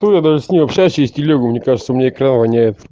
то я даже с ней общаюсь через телегу мне кажется у меня экран воняет